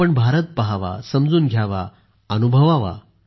आपण भारत पाहावा समजून घ्यावा अनुभवावा